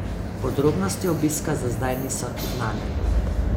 Podrobnosti obiska za zdaj niso znane.